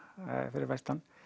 fyrir vestan